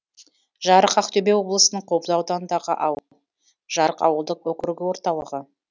жарық ақтөбе облысының қобда ауданындағы ауыл жарық ауылдық округі орталығы